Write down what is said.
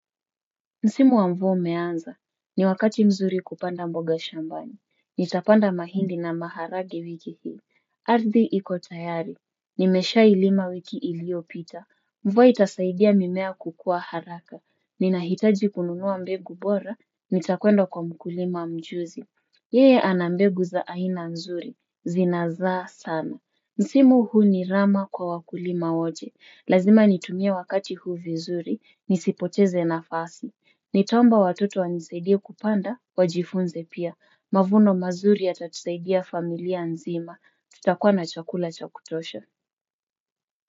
Msimu wa mvua umeanza. Ni wakati mzuri kupanda mboga shambani. Nitapanda mahindi na maharage wiki hii. Ardhi ikotayari. Nimeshailima wiki iliyopita. Mvua itasaidia mimea kukua haraka. Ninahitaji kununua mbegu bora. Nitakwenda kwa mkulima mjuzi. Yeye ana mbegu za aina nzuri. Zinazaa sana. Msimu huu ni rama kwa wakulima woje. Lazima nitumie wakati huu vizuri. Nisipoteze nafasi. Nitaomba watoto wanisaidie kupanda wajifunze pia mavuno mazuri yatatusaidia familia nzima tutakuwa na chakula cha kutosha.